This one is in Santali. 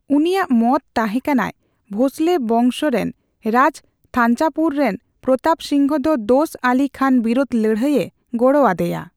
ᱩᱱᱤᱭᱟᱜ ᱢᱚᱛ ᱛᱟᱦᱮᱸᱠᱟᱱᱟᱭ ᱵᱷᱳᱸᱥᱞᱮ ᱵᱚᱝᱥᱨᱮᱱ ᱨᱟᱡᱽ ᱛᱷᱟᱧᱡᱟᱵᱷᱩᱨ ᱨᱮᱱ ᱯᱨᱚᱛᱟᱯ ᱥᱤᱝ ᱫᱚ ᱫᱳᱥ ᱟᱞᱤ ᱠᱷᱟᱱ ᱵᱤᱨᱳᱫᱷ ᱞᱟᱹᱲᱦᱟᱹᱭᱮ ᱜᱚᱲᱚ ᱟᱫᱮᱭᱟ᱾